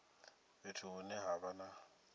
fhethu hune ha vha na